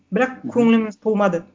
бірақ көңіліміз толмады